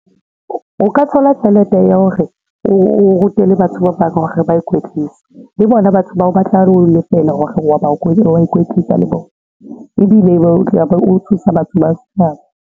O ka thola tjhelete ya hore o rute le batho ba bang hore ba ikwetlise le bona batho bao batla ho lefela hore wa ikwetlisa le bona ebile be o tla be o thusa batho ba setjhaba.